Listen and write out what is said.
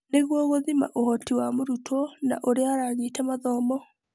Nĩguo gũthima ũhooti wa mũrutwo na ũrĩa aranyita mathomo.